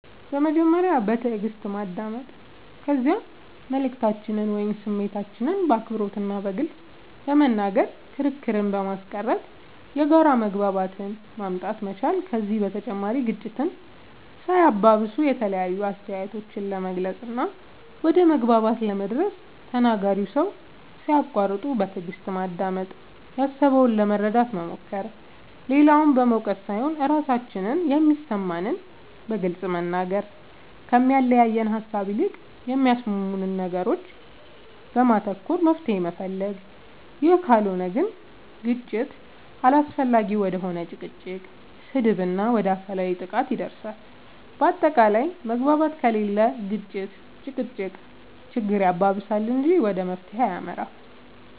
በመጀመሪያ በትእግስት ማዳመጥ ከዚያ መልእክታችንን ወይም ስሜታችንን በአክብሮት እና በግልፅ በመናገር ክርክርን በማስቀረት የጋራ መግባባትን ማምጣት መቻል ከዚህ በተጨማሪ ግጭትን ሳያባብሱ የተለያዩ አስተያየቶችን ለመግለፅ እና ወደ መግባባት ለመድረስ ተናጋሪውን ሰው ሳያቁዋርጡ በትእግስት ማዳመጥ ያሰበውን ለመረዳት መሞከር, ሌላውን በመውቀስ ሳይሆን ራሳችን የሚሰማንን በግልፅ መናገር, ከሚያለያየን ሃሳብ ይልቅ በሚያስማሙን ነገሮች ላይ በማተኮር መፍትሄ መፈለግ ይህ ካልሆነ ግን ግጭት አላስፈላጊ ወደ ሆነ ጭቅጭቅ, ስድብ እና ወደ አካላዊ ጥቃት ያደርሳል በአታቃላይ መግባባት ከሌለ ግጭት(ጭቅጭቅ)ችግር ያባብሳል እንጂ ወደ መፍትሄ አይመራም